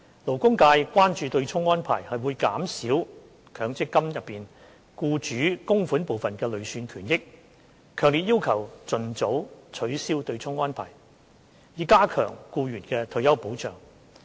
勞工界關注對沖安排會減少強積金中僱主供款部分的累算權益，強烈要求盡早取消對沖安排，以加強僱員的退休保障。